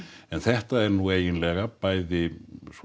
en þetta er nú eiginlega bæði